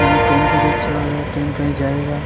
न वो ट्रैन को भी अच्छा लगरा ट्रैन कही जायेगा।